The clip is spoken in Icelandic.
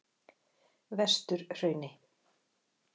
Vesturhrauni